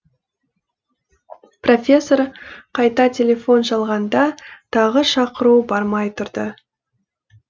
профессор қайта телефон шалғанда тағы шақыру бармай тұрды